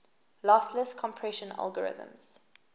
lossless compression algorithms